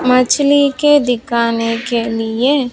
मछली के दिखाने के लिए--